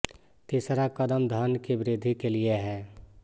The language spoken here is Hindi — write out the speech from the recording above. तीसरा कदम धन की वृद्धि के लिए है